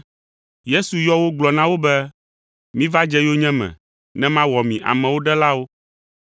Yesu yɔ wo gblɔ na wo be, “Miva dze yonyeme ne mawɔ mi amewo ɖelawo.”